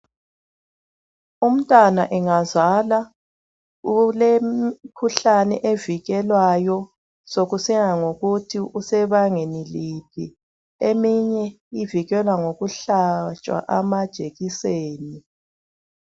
Umntwana engazala ulemkhuhlane evikelwayo sokusiya ngokuthi usebangeni liphi. Eminye ivikelwa ngokuhlatshwa amajekiseni.